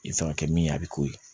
I kan ka kɛ min ye a bi k'o ye